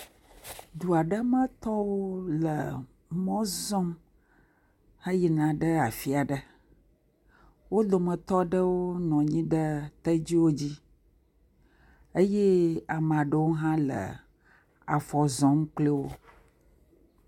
Du aɖe metɔwo le mɔ zɔm heyina ɖe afi ɖe. Wo dometɔ ɖewo nɔ anyi ɖe tedziwo dzi eye ame aɖewo hã le afɔ zɔm kple wo.